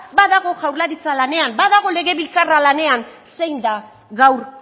badago jaurlaritza lanean badago legebiltzarra lanean zein da gaur